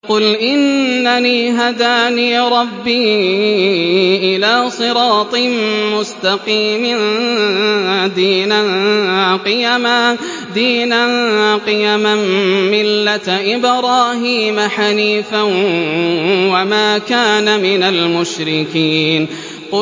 قُلْ إِنَّنِي هَدَانِي رَبِّي إِلَىٰ صِرَاطٍ مُّسْتَقِيمٍ دِينًا قِيَمًا مِّلَّةَ إِبْرَاهِيمَ حَنِيفًا ۚ وَمَا كَانَ مِنَ الْمُشْرِكِينَ